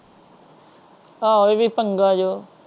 ਆਹੋ ਇਹ ਵੀ ਪੰਗਾ ਜੋ।